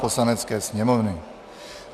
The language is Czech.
Poslanecké sněmovny